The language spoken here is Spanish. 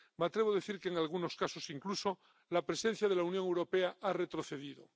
Me atrevo a decir que, en algunos casos incluso, la presencia de la Unión Europea ha retrocedido.